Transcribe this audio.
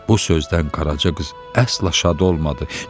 Bu sözdən Qaraca qız əsla şad olmadı.